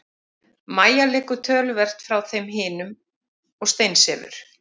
Mæja liggur töluvert frá þeim hinum og steinsefur.